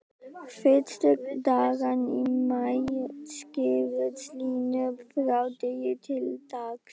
Fyrstu dagana í maí skýrðust línur frá degi til dags.